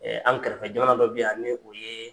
an kɛrɛfɛ jamana dɔ bɛ yan ni o yee